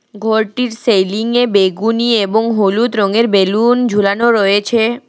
ঘরটির সেলিং এ বেগুনি এবং হলুদ রঙের বেলুন ঝুলানো রয়েছে।